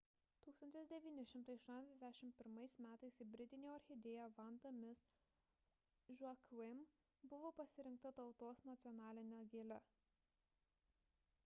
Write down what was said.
1981 m hibridinė orchidėja vanda miss joaquim buvo pasirinkta tautos nacionaline gėle